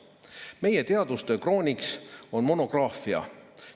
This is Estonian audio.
Meie teadustöö krooniks on monograafia.